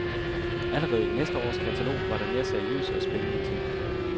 Allerede i næste års katalog var der mere seriøse og spændende tilbud.